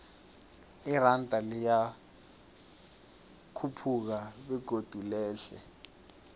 iranda liyakhuphuka begodu lehle